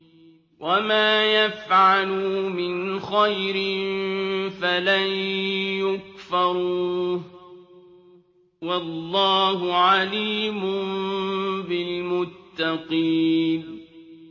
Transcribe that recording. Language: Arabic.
وَمَا يَفْعَلُوا مِنْ خَيْرٍ فَلَن يُكْفَرُوهُ ۗ وَاللَّهُ عَلِيمٌ بِالْمُتَّقِينَ